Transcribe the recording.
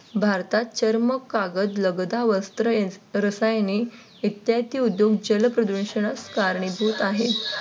भारतात चर्म, कागद लगदा, वस्त्र, रसायने इत्यादी उद्योग जलप्रदूषणास कारणीभूत आहेत.